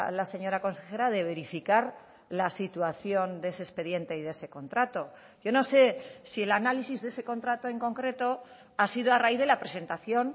la señora consejera de verificar la situación de ese expediente y de ese contrato yo no sé si el análisis de ese contrato en concreto ha sido a raíz de la presentación